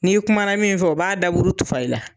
N'i kumana min fɛ, o b'a daburu tufa i la.